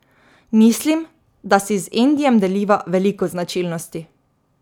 Mislim, da si z Endijem deliva veliko značilnosti.